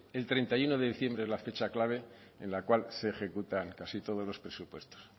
el treinta y uno de diciembre es la fecha clave en la cual se ejecutan casi todos los presupuestos